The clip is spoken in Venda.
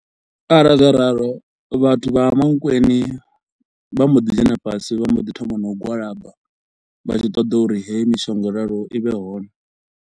Arali zwa ralo vhathu vha Mankweng vha mbo ḓi dzhena fhasi vha mbo ḓi thoma no u gwalaba, vha tshi ṱoḓa uri heyi mishonga yo raloho i vhe hone.